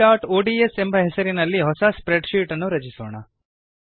abcಒಡಿಎಸ್ ಎಂಬ ಹೆಸರಿನಲ್ಲಿ ಹೊಸ ಸ್ಪ್ರೆಡ್ ಶೀಟ್ ಅನ್ನು ರಚಿಸೋಣ